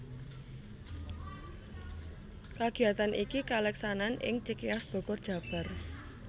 Kagiyatan iki kaleksanan ing Cikeas Bogor Jabar